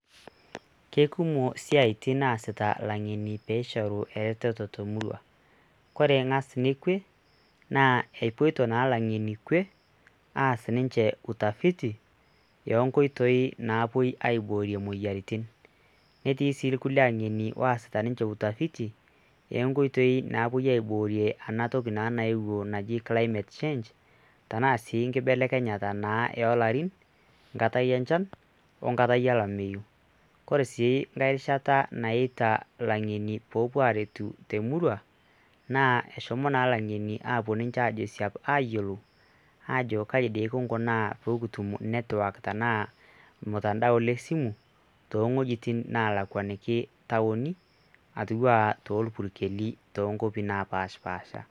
Ke kumok siaitin naasita lang'eni peishoru eretoto te murua, kore ng'as kwe epoito naa lang'eni kwe aas ninje utafiti o nkoitoi naapuei aiborie moyiaritin. Netii sii irkulie ang'eni oosita ninje utafiti e nkoitoi napuoi aiborie ena toki naa nayeuo naji climate change tena sii nkibelekenyata naa o larin nkatai enchan o nkatai olameyu. kore sii nkae rishata naita lang'eni poopuo aretu te murua naa eshomo naa lang'eni apuo ninje ajo siab ayolou aajo kai dii kung'unaa poo kutum network tenaa ormutandao le simu to wojitin nalakwaniki taoni atiu aa torpukeli to nkuapi napaashipaasha.